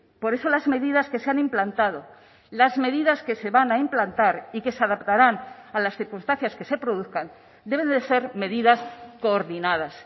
por eso las medidas que se han implantado las medidas que se van a implantar y que se adaptarán a las circunstancias que se produzcan deben de ser medidas coordinadas